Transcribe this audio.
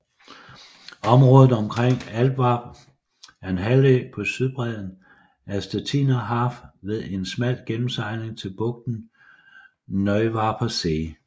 Området omkring Altwarp er en halvø på sydbredden af Stettiner Haff ved en smal gennemsejling til bugten Neuwarper See